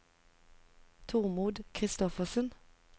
Tormod Christoffersen